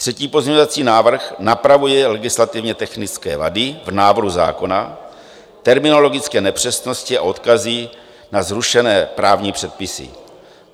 Třetí pozměňovací návrh napravuje legislativně technické vady v návrhu zákona, terminologické nepřesnosti a odkazy na zrušené právní předpisy.